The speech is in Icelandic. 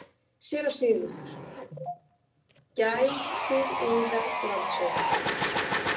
SÉRA SIGURÐUR: Gætið yðar, landshöfðingi.